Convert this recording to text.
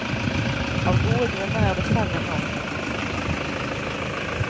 Av gode grunner er det færre nå. punktum